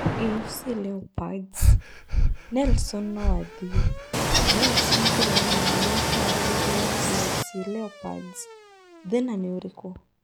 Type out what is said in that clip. AFC Leopards: Nelson no athiĩ, Nelson kũregana na mĩharerio ya AFC Leopards - thĩna nĩ ũrĩkũ?